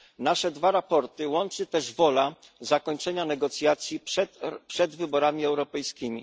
Nasze dwa raporty łączy też wola zakończenia negocjacji przed wyborami europejskimi.